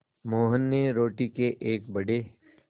मोहन ने रोटी के एक बड़े